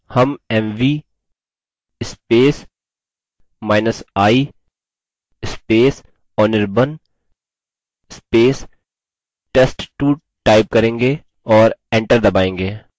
हम mvi anirban test2 type करेंगे और enter दबायेंगे